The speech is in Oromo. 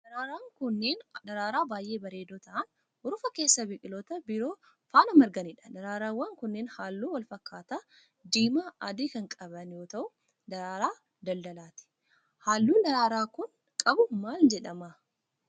Daraaraan kunneen, daraaraa baay'ee bareedoo ta'an, urufa keessa biqiloota biroo faana marganii dha. Daraaraawwan kunneen haalluu walfakkaataa diimaa adii kan qaban yoo ta'u, daraaraa daldalaati. Haalluun daraaraan kun qabu maal jedhama?